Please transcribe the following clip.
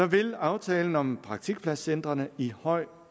vil aftalen om praktikpladscentrene i høj